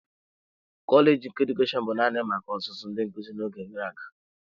Kọleji nke Edukeshọn bụ naanị maka ọzụzụ ndị nkuzi n'oge gara aga.